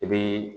I bi